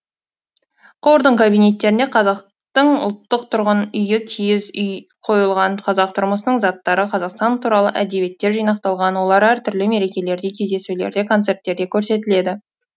қордың кабинеттерінде қазақтың ұлттық тұрғын үйі киіз үй қойылған қазақ тұрмысының заттары қазақстан туралы әдебиеттер жинақталған олар әртүрлі мерекелерде кездесулерде концерттерде көрсетіледі